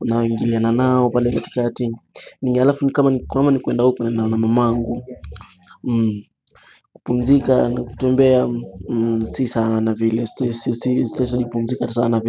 unaingiliana nao pale katikati alafu nikuwama nikuwenda upe na mamangu. Kupumzika na kutembea si sana vile si si si si pumzika sana vile.